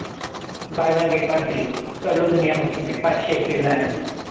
Bye one get one free करलो दुनिया मुठीमे पाचशे एक रिलायन्स.